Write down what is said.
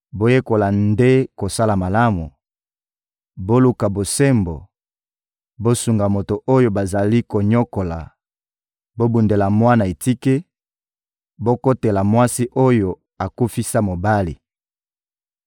Boyekola nde kosala malamu, boluka bosembo, bosunga moto oyo bazali konyokola, bobundela mwana etike, bokotela mwasi oyo akufisa mobali!